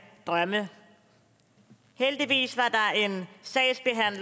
drømme heldigvis